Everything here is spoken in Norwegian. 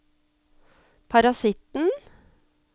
parasitten